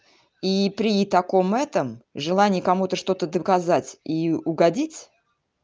и при таком этом желании кому-то что-то доказать и угодить